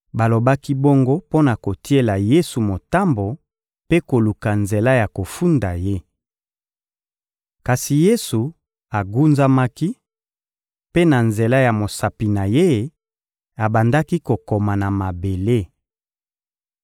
Balobaki bongo mpo na kotiela Yesu motambo mpe koluka nzela ya kofunda Ye. Kasi Yesu agunzamaki; mpe na nzela ya mosapi na Ye, abandaki kokoma na mabele.